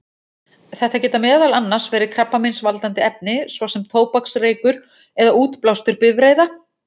Þetta geta meðal annars verið krabbameinsvaldandi efni, svo sem tóbaksreykur eða útblástur bifreiða.